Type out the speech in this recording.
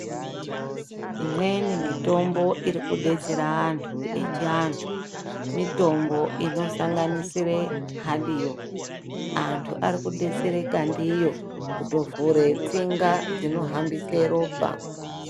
Imweni mitombo irikudetsera antu echiantu mitombo inosanganisire hadiyo. Antu arikudetsereka ndiyo kutovhure tsinga dzinohambise ropa.